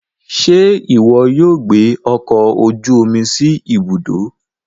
Ṣe iwọ yóò gbé ọkọ ojú omi sí Ibùdó